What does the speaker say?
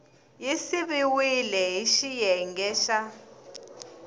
yi siviwile hi xiyenge xa